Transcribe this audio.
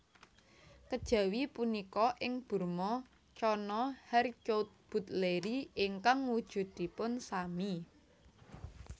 Kejawi punika ing Burma Channa harcourtbutleri ingkang wujudipun sami